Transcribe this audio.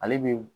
Ale bi